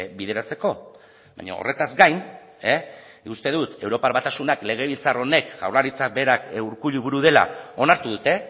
bideratzeko baina horretaz gain uste dut europar batasunak legebiltzar honek jaurlaritzak berak urkullu buru dela onartu dute